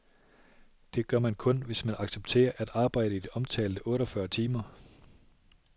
Det gør man kun, hvis man accepterer at arbejde i de omtalte otte fyrre timer.